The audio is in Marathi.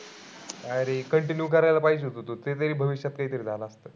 अरे continue करायला पाहिजे होत तू. ते तरी भविष्यात काही तरी झालं असतं.